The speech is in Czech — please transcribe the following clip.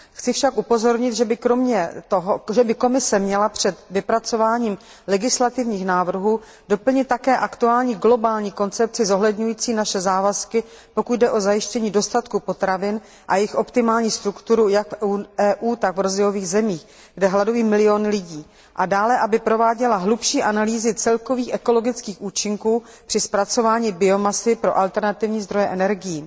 Chci však upozornit, že by Komise měla před vypracováním legislativních návrhů doplnit také aktuální globální koncepci zohledňující naše závazky, pokud jde o zajištění dostatku potravin a jejich optimální strukturu jak v EU, tak v rozvojových zemích, kde hladoví miliony lidi. A dále aby prováděla hlubší analýzy celkových ekologických účinků při zpracování biomasy pro alternativní zdroje energií.